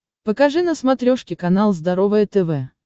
покажи на смотрешке канал здоровое тв